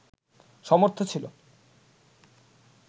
সমর্থ ছিল